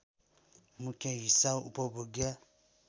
मुख्य हिस्सा उपभोग्य